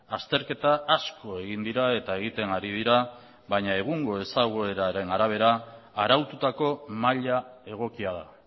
azterketa asko egin dira eta egiten ari dira baina egungo ezagueraren arabera araututako maila egokia da